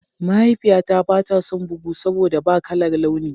Mahaifiyata ba ta son bugu saboda ba kalar launi.